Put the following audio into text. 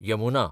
Yamuna